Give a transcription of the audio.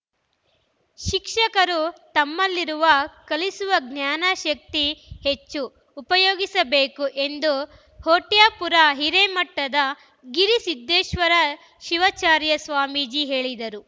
ಶಿಕ್ಷಕರು ತಮ್ಮಲ್ಲಿರುವ ಕಲಿಸುವ ಜ್ಞಾನ ಶಕ್ತಿ ಹೆಚ್ಚು ಉಪಯೋಗಿಸಬೇಕು ಎಂದು ಹೊಟ್ಯಾಪುರ ಹಿರೇಮಠದ ಗಿರಿಸಿದ್ದೇಶ್ವರ ಶಿವಾಚಾರ್ಯ ಸ್ವಾಮೀಜಿ ಹೇಳಿದರು